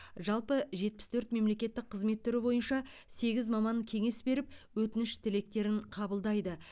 жалпы жетпіс төрт мемлекеттік қызмет түрі бойынша сегіз маман кеңес беріп өтініш тілектерін қабылдайды